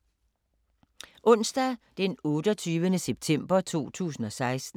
Onsdag d. 28. september 2016